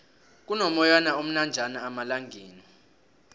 kuno moyana omnanjana amalangala